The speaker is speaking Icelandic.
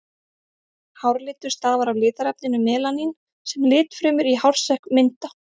Hárlitur stafar af litarefninu melanín sem litfrumur í hársekk mynda.